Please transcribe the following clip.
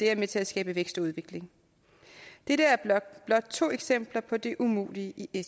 er med til at skabe vækst og udvikling dette er blot to eksempler på det umulige i